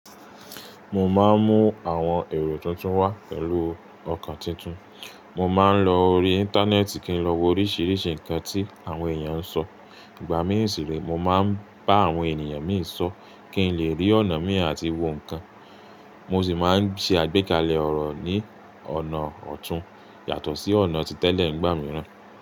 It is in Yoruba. Mo máa ń mú àwọn èrò tuntun wá pẹ̀lú ọkàn titun. Mo máa ń lọ orí Íńtánẹ́ẹ̀tì kí n lọ wo oríṣiríṣi nǹkan tí àwọn èèyàn ń sọ. Ìgbà mí ń si re, mo máa ń bá àwọn ènìyàn mí ń sọ̀ kí n lè rí ọ̀nà mí àti wo nǹkan. Mo sì máa ń ṣe àgbékalẹ̀ ọ̀rọ̀ ní ọ̀nà ọ̀tún yàtọ̀ sí ọ̀nà ti tẹ́lẹ̀ nígbà mìíràn.